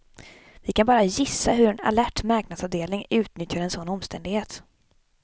Vi kan bara gissa hur en alert marknadsavdelning utnyttjar en sådan omständighet.